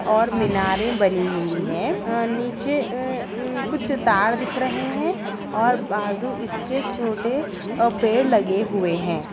और मिनारें बनी हुई हैं। अ नीचे अ उ कुछ तार दिख रहे हैं और बाजू इसके छोटे अ पेड़ लगे हुए हैं।